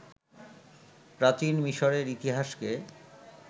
প্রাচীন মিশরের ইতিহাসকে